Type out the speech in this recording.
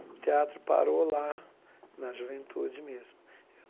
O teatro parou lá na juventude mesmo. Eu